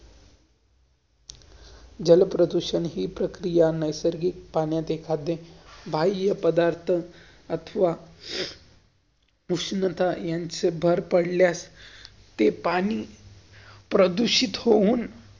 जलप्रदूषण हि प्रक्रिया नैसर्गिक पाण्यात एखादे पधार्थ, अथवा उष्णता यांच भर पडल्यास ते पाणी प्रदूषित होउन.